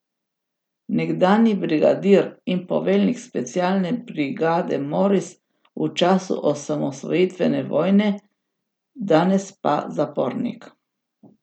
Nekdanji brigadir in poveljnik specialne brigade Moris v času osamosvojitvene vojne, danes pa zapornik.